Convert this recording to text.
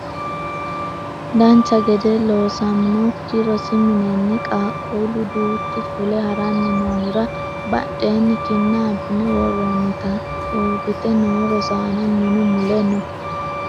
dancha gede loosaminokki rosi minenni qaaqquullu duuchu fule haranni noohura badheenni kinna abbine worroonnitinna uurrite noo rosaano minu mule no